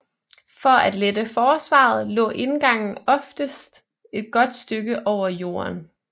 For at lette forsvaret lå indgangen oftest et godt stykke over jorden